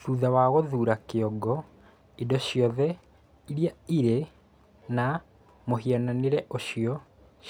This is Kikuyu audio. Thutha wa gũthuura kĩongo, indo ciothe iria irĩ na mũhianĩre ũcio